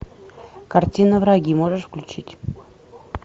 картина враги можешь включить